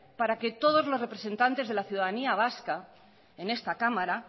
para que todos los representantes de la ciudadanía vasca en esta cámara